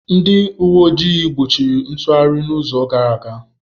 Ndị uwe ojii gbochiri ntụgharị n'izu gara aga.